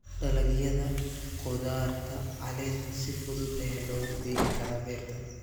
Dalagyada khudaarta caleenta si fudud ayaa loogu beeri karaa beerta.